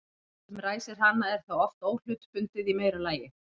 Það sem ræsir hana er þá oft óhlutbundið í meira lagi.